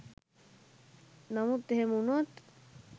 නමුත් එහෙම උනොත්